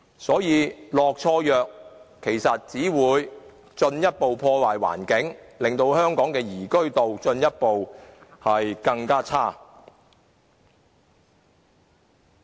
所以，"落錯藥"只會進一步破壞環境，令香港的宜居度進一步變差。